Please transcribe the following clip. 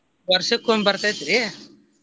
ವರ್ಷಕೊಮ್ಮೆ ಬರ್ತೈತ್ರಿ.